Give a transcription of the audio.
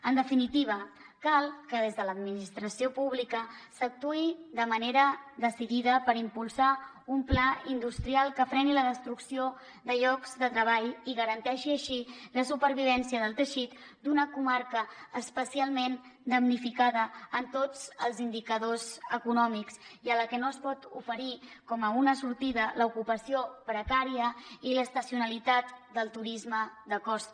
en definitiva cal que des de l’administració pública s’actuï de manera decidida per impulsar un pla industrial que freni la destrucció de llocs de treball i garanteixi així la supervivència del teixit d’una comarca especialment damnificada en tots els indicadors econòmics i a la que no es pot oferir com una sortida l’ocupació precària i l’estacionalitat del turisme de costa